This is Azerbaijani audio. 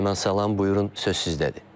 Mehman salam, buyurun, söz sizdədir.